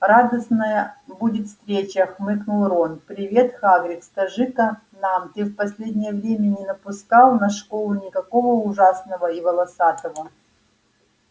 радостная будет встреча хмыкнул рон привет хагрид скажи-ка нам ты в последнее время не напускал на школу никакого ужасного и волосатого